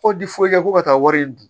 Ko di foyi kɛ ko ka taa wari in dun